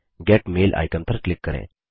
gate mail icon पर click करें